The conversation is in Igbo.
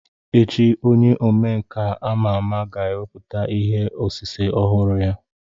Echi onye omenka ama ama ga-ewepụta ihe osise ọhụrụ ya.